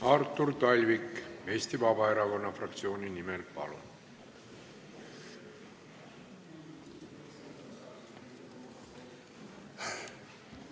Artur Talvik Eesti Vabaerakonna fraktsiooni nimel, palun!